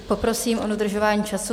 Poprosím o dodržování času.